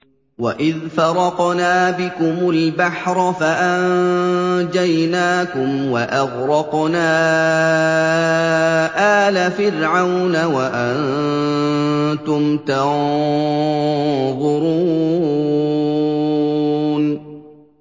وَإِذْ فَرَقْنَا بِكُمُ الْبَحْرَ فَأَنجَيْنَاكُمْ وَأَغْرَقْنَا آلَ فِرْعَوْنَ وَأَنتُمْ تَنظُرُونَ